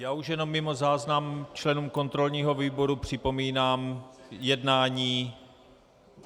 Já už jenom mimo záznam členům kontrolního výboru připomínám jednání.